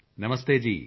ਨਮਸਤੇ ਜੀ